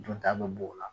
Dunta bɛ b'o la